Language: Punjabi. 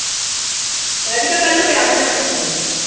ਰਾਧਿਕਾ ਕੱਲ ਨੂੰ ਕਿਆ ਬਣਾਉਣਾ ਤੁਸੀਂ।